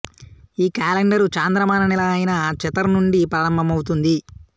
ఈ కాలెండరు చాంద్రమాన నెల అయిన చెతర్ నుండి ప్రారంభమవుతుంది